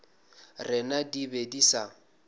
rena di be di sa